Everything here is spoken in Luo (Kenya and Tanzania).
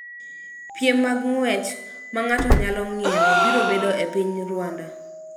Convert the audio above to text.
Piem mag ng�wech ma ng�ato nyalo ng�iewo biro bedo e piny Rwanda